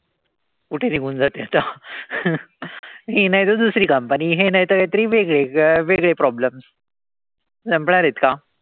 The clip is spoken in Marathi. कुठे निघून जाते आता? हि नाई त दुसरी company. हे नाई त काई तरी वेगळे. वेगळे problems. संपणारेत का?